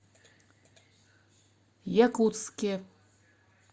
якутске